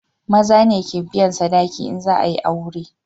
Maza ne ke biyan sadaki in za a yi aure